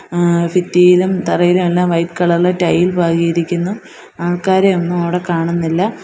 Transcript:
ഏഹ് ഭിത്തിയിലും തറയിലുമെല്ലാം വൈറ്റ് കളറില് ടൈൽ പാകിയിരിക്കുന്നു ആൾക്കാരെ ഒന്നും അവിടെ കാണുന്നില്ല.